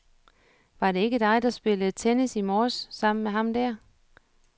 Var det ikke dig, der spillede tennis i morges sammen med ham der?